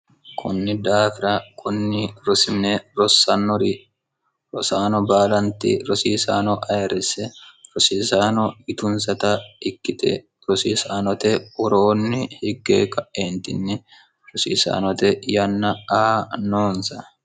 kunni daafira kunni rosimine rosannori rosaano baalanti rosiisaano ayiresse rosiisaano yitunsata ikkite rosiisaanote uroonni higge ka'eentinni rosiisaanote yanna a noonsa